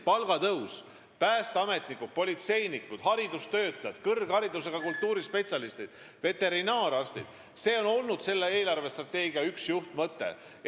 Palgatõus päästeametnikele, politseinikele, haridustöötajatele, kõrgharidusega kultuurispetsialistidele ja veterinaararstidele on olnud selle eelarvestrateegia üks juhtmõte.